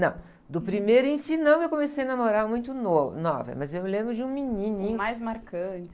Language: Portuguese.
Não, do primeiro em si não, eu comecei a namorar muito novo, nova, mas eu me lembro de um menininho... mais marcante.